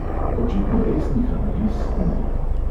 Očitno resnih analiz ni.